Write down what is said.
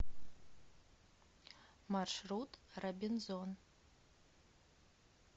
маршрут робинзон